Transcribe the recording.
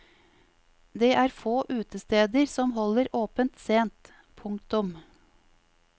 Det er få utesteder som holder åpent sent. punktum